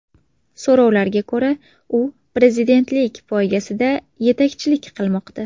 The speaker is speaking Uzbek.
So‘rovlarga ko‘ra, u prezidentlik poygasida yetakchilik qilmoqda.